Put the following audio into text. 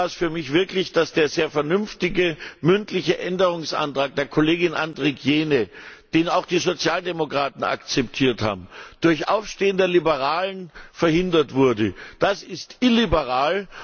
Am schlimmsten war es für mich wirklich, dass der sehr vernünftige mündliche Änderungsantrag der Kollegin Andrikienė, den auch die Sozialdemokraten akzeptiert haben, durch Aufstehen der Liberalen verhindert wurde. Das ist illiberal.